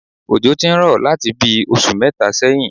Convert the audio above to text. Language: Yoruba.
Òjò ti ń rọ̀ láti bí i oṣù mẹ́ta sẹ́yìn